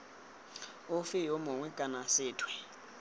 ofe yo mongwe kana sethwe